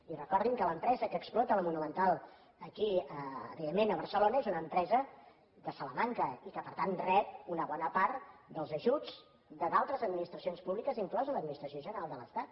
i recordin que l’empresa que explota la monumental aquí evidentment a barcelona és una empresa de salamanca i que per tant rep una bona part dels ajuts d’altres administracions públiques inclosa l’administració general de l’estat